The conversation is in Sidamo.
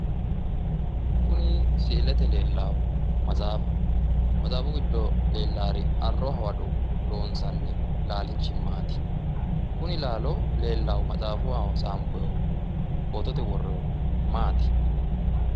Kuni si'ilete lellaahu matsaafaho matsaafu giddo leellaari arro hawado loonsanni laalchimmaati, kuni laalo leellaahu matsaafaho tsaanfoyiihu maati?